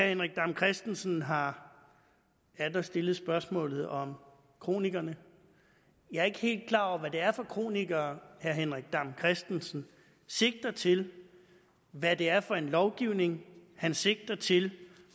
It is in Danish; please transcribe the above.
henrik dam kristensen har atter stillet spørgsmålet om kronikerne jeg ikke helt klar over hvad det er for kronikere herre henrik dam kristensen sigter til hvad det er for en lovgivning han sigter til